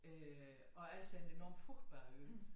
Øh og Als er en enormt frugtbar ø